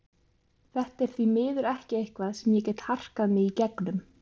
Þetta er því miður ekki eitthvað sem ég get harkað mig í gegnum.